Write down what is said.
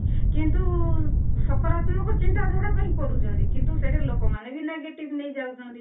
କିନ୍ତୁ ସକାରାତ୍ମକ ଚିନ୍ତାଧାରା ପାଇଁ କରୁଛନ୍ତି କିନ୍ତୁ ସେଟା ଲୋକମାନେ ବି negative ନେଇଯାଉଛନ୍ତି